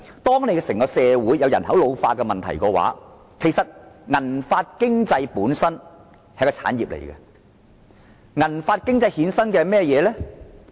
當整個社會出現人口老化問題的時候，"銀髮經濟"本身已變成一種產業，而且會衍生甚麼呢？